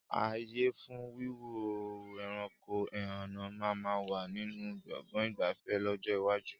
Ààyè fún Wíwo ẹranko ẹhànnà máa ma wà nínú Gbọ̀ngán ìgbafẹ́ lọ́jọ́ iwájú